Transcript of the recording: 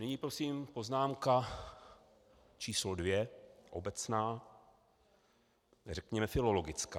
Nyní prosím poznámka číslo dvě, obecná, řekněme filologická.